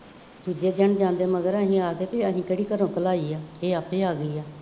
ਦੂਜੇ ਦਿਨ ਜਾਂਦੇ ਮਗਰ ਸੀ ਆ ਗਏ ਸੀ, ਅਸੀਂ ਕਿਹੜੀ ਘਰੋਂ ਘਲਾਈ ਹੈ, ਇਹ ਆਪੇ ਆ ਗਈ ਹੈ,